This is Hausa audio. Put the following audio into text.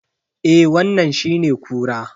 Eh wannan shine kura.